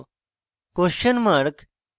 questionmark